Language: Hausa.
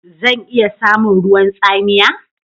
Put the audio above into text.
Zan iya samun ruwan tsamiya?